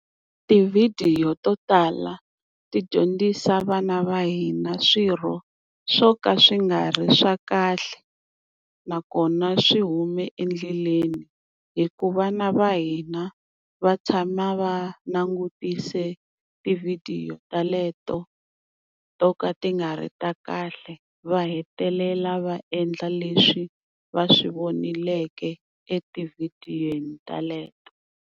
Tivhidiyo to tala ti dyondzisa vana va hina swilo swo ka swi nga ri swa kahle, nakona swi hume endleleni hi ku vana va hina va tshama va langutise tivhidiyo teleto to ka ti nga ri ta kahle va hetelela va endla leswi va swi vonileke etivhidiyweni teleto.